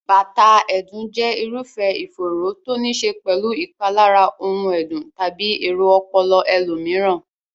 bátàà ẹ̀dùn jẹ́ irúfẹ́ ìfòòró to níí ṣe pẹ̀lú ìpalára ohun ẹ̀dùn tàbí èrò ọpọlọ ẹlòmíràn.